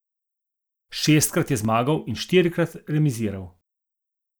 Šestkrat je zmagal in štirikrat remiziral.